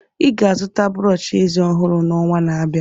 Ị ga-azụta brọsh eze ọhụrụ n'ọnwa na-abịa.